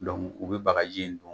u bɛ bagaji in don.